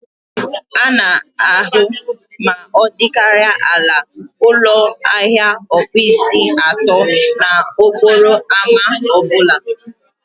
A na-ahụ ma ọ dịkarịa ala ụlọ ahịa ọkpụisi atọ n'okporo ámá ọ bụla